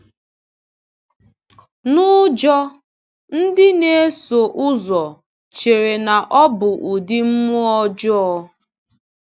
N’ụjọ, ndị nēsò ụzọ chere na ọ bụ ụdị mmụọ ọjọọ.